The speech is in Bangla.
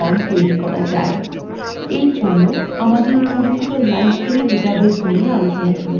for জন্য আমাদের পরিচিত library ডাটাবেস নিয়ে আলোচনা শুরু করা যাক